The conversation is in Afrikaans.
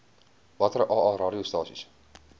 watter aa radiostasies